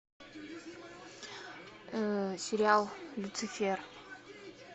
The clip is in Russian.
сериал люцифер